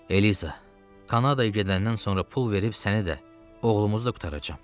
Eliza, Kanadaya gedəndən sonra pul verib səni də, oğlumuzu da qurtaracam.